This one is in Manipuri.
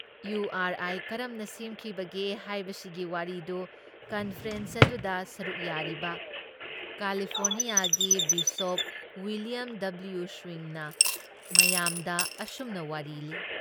ꯏꯌꯨ ꯑꯥꯔ ꯑꯥꯥꯏ ꯀꯔꯝꯅ ꯁꯦꯝꯈꯤꯕꯒꯦ ꯍꯥꯏꯕꯁꯤꯒꯤ ꯋꯥꯔꯤꯗꯨ ꯀꯟꯐꯔꯦꯟꯁ ꯑꯗꯨꯗ ꯁꯔꯨꯛ ꯌꯥꯔꯤꯕ ꯀꯥꯂꯤꯐꯣꯔꯅꯤꯌꯥꯒꯤ ꯕꯤꯁꯣꯞ ꯎꯏꯂꯤꯌꯝ ꯗꯕꯂꯤꯌꯨ ꯁ꯭ꯋꯤꯡꯅ ꯃꯌꯥꯝꯗ ꯑꯁꯨꯝꯅ ꯋꯥꯔꯤ ꯂꯤ